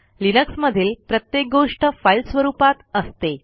लिनक्समधील प्रत्येक गोष्ट फाईल स्वरूपात असते